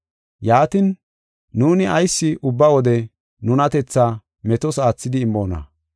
Yaatin, nuuni ayis ubba wode nunatethaa metos aathidi immoona?